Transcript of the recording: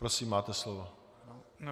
Prosím, máte slovo.